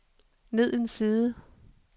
ned en side